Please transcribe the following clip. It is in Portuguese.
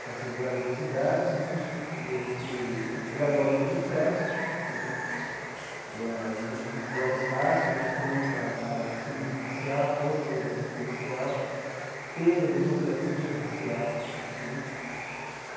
com essas várias entidades né, e a gente elabora um manifesto né, e aí várias faixas né contra a discriminação racial, contra a violência policial, pela democracia racial né.